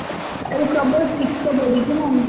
ଇଆଡେ ପ୍ରବଳ ଶୀତ ବଢୁଛି, ନାଇ?